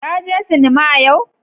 Ka je sinima yau?